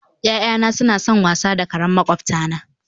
Ya'yana suna son wasa da kare makwabtana